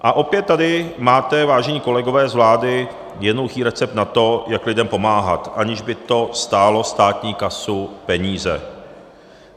A opět tady máte, vážení kolegové z vlády, jednoduchý recept na to, jak lidem pomáhat, aniž by to stálo státní kasu peníze.